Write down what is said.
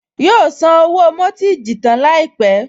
Yóò san owó mọ́tíìjì tán láìpẹ́